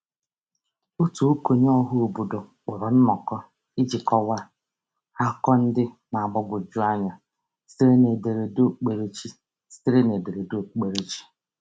Otu okenye ọhaobodo kpọrọ nnọkọ iji kọwa akụkụ ndị na-agbagwoju anya sitere n’ederede okpukperechi. sitere n’ederede okpukperechi.